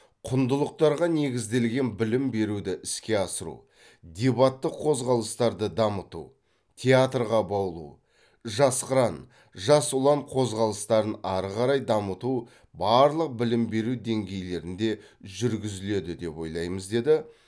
құндылықтарға негізделген білім беруді іске асыру дебаттық қозғалыстарды дамыту театрға баулу жас қыран жас ұлан қозғалыстарын ары қарай дамыту барлық білім беру деңгейлерінде жүргізіледі деп ойлаймыз деді